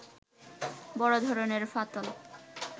বড় ধরনের ফাটল